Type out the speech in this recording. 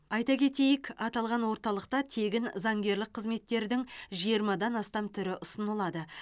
айта кетейік аталған орталықта тегін заңгерлік қызметтердің жиырмадан астам түрі ұсынылады